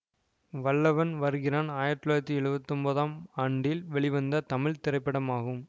வல்லவன் வருகிறான் ஆயிரத்தி தொள்ளாயிரத்தி எழுவத்தி ஒன்பதாம் ஆண்டில் வெளிவந்த தமிழ் திரைப்படமாகும்